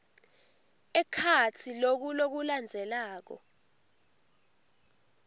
ekhatsi loku lokulandzelako